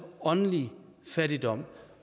åndelig fattigdom